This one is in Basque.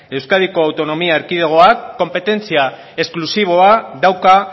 euskadiko autonomia erkidegoak konpetentzia esklusiboa dauka